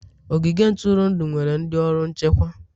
Ogige ntụrụndụ nwere ndị ọrụ nchekwa.